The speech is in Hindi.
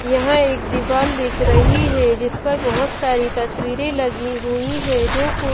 यहां एक दीवाल दिख रही है जिस पर बहुत सारी तस्वीरें लगी हुई है जो--